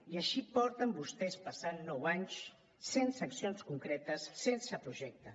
i així porten vostès passant nou anys sense accions concretes sense projecte